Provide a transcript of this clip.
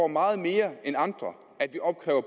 meget mere end andre at vi opkræver